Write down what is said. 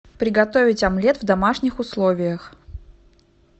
приготовить омлет в домашних условиях